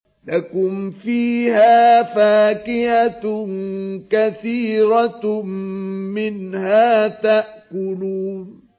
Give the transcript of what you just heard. لَكُمْ فِيهَا فَاكِهَةٌ كَثِيرَةٌ مِّنْهَا تَأْكُلُونَ